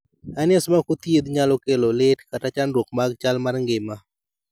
hernias ma ok othiedh nyalo kelo lit kata chandruok mag chal mar ngima